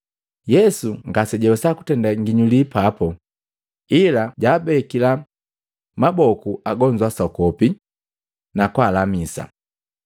Yesu ngase jawesa kutenda ginyuli papu, ila jaabekila maboku agonzu asokopi, na kwaalamisa.